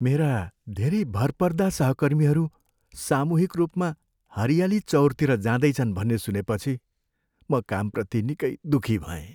मेरा धेरै भरपर्दा सहकर्मीहरू सामूहिक रूपमा हरियाली चउरतिर जाँदैछन् भन्ने सुनेपछि म कामप्रति निकै दुखी भएँ।